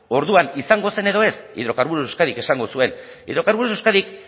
orduan izango zen edo ez hidrocarburos de euskadik esango zuen hidrocarburos de euskadik